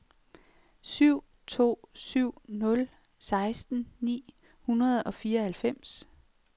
syv to syv nul seksten ni hundrede og fireoghalvfems